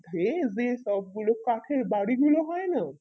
হে যে সব গুলো খাতের বাড়ি গুলো হয় না